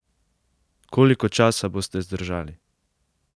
Koliko časa boste zdržali?